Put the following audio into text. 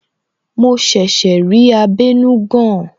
Mo ṣẹ̀ṣẹ̀ rí abenugan